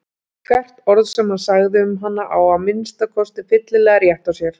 Hvert orð sem hann sagði um hana á að minnsta kosti fyllilega rétt á sér.